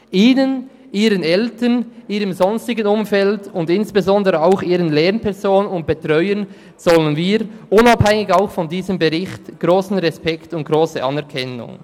Ihnen, ihren Eltern, ihrem sonstigen Umfeld und insbesondere auch ihren Lehrpersonen und Betreuern zollen wir, unabhängig von diesem Bericht, grossen Respekt und grosse Anerkennung.